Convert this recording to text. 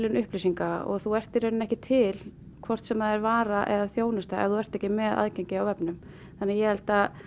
upplýsinga og þú ert í raun ekki til hvort sem það er vara eða þjónusta ef þú ert ekki með aðgengi á vefnum þannig ég held að